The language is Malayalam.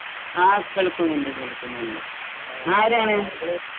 ഹാ, കേൾക്കുന്നുണ്ട്. കേൾക്കുന്നുണ്ട് . ആരാണ്